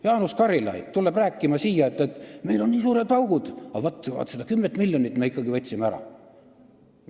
Jaanus Karilaid tuleb siia rääkima, et meil on nii suured augud, aga vaat selle 10 miljonit me võtsime ikkagi ära.